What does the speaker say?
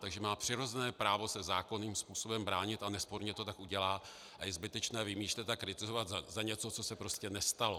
Takže má přirozené právo se zákonným způsobem bránit a nesporně to tak udělá a je zbytečné vymýšlet a kritizovat za něco, co se prostě nestalo.